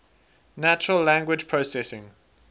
natural language processing